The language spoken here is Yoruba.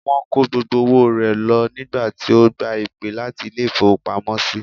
Wón kó gbogbo owó rẹ̀ lọ nígbà tí ó gba ìpè láti Ilé ìfowópamósí